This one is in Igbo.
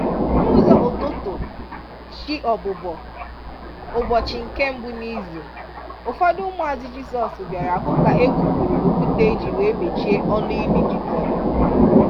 N’ụzọ ụtụtụ/chi ọbùbọ̀ ụbọchị nke mbu n’izu, ụfọdụ ụmụazụ Jisọs bịara hụ ka e bupụrụ okwute eji wee mechie ọnụ ili Jisọs.